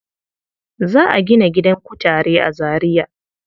Za a gina gidan kutare a Zariya.